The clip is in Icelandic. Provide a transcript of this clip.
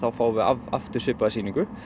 fáum við aftur svipaða sýningu